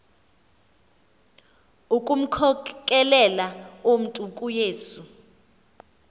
ukumkhokelela umntu kuyesu